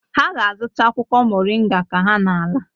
Ha ga-azụta akwụkwọ moringa ka ha na-ala.